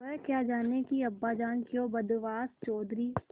वह क्या जानें कि अब्बाजान क्यों बदहवास चौधरी